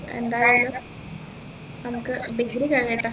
എന്തായാലും നമ്മുക്ക് degree കഴിയട്ടെ